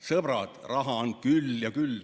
Sõbrad, raha on küll ja küll.